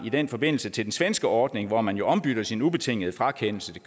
i den forbindelse til den svenske ordning hvor man jo ombytter sin ubetingede frakendelse